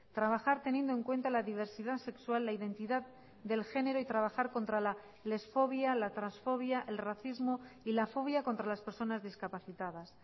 trabajar teniendo en cuenta la diversidad sexual la identidad del género y trabajar contra la lesfobia la transfobia el racismo y la fobia contra las personas discapacitadas